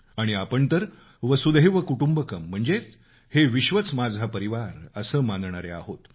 आणि आपण तर वसुधैव कुटुंबकम् म्हणजेच हे विश्वच माझा परिवार असं मानणारे आहोत